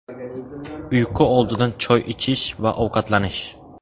Uyqu oldidan choy ichish va ovqatlanish.